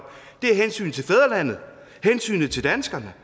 er hensynet til fædrelandet hensynet til danskerne